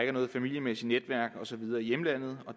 er noget familiemæssigt netværk og så videre i hjemlandet